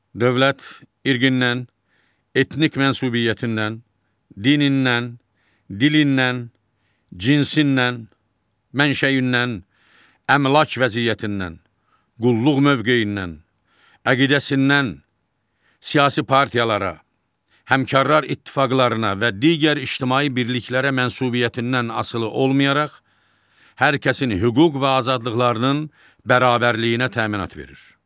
Dövlət irqindən, etnik mənsubiyyətindən, dinindən, dilindən, cinsindən, mənşəyindən, əmlak vəziyyətindən, qulluq mövqeyindən, əqidəsindən, siyasi partiyalara, həmkarlar ittifaqlarına və digər ictimai birliklərə mənsubiyyətindən asılı olmayaraq, hər kəsin hüquq və azadlıqlarının bərabərliyinə təminat verir.